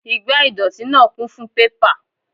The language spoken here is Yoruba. Igbá ìdọ̀tí náà kún fún pépà